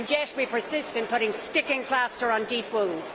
And yet we persist in putting sticking plaster on deep wounds.